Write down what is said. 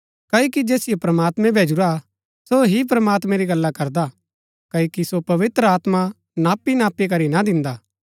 क्ओकि जैसियो प्रमात्मैं भैजुरा सो ही प्रमात्मैं री गल्ला करदा क्ओकि सो पवित्र आत्मा नापीनापी करी ना दिन्दा